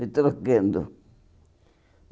Foi trocando.